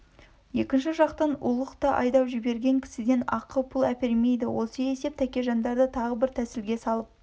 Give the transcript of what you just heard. екінші жақтан ұлық та айдап жіберген кісіден ақы-пұл әпермейді осы есеп тәкежандарды тағы бір тәсілге салып